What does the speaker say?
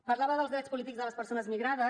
parlava dels drets polítics de les persones migrades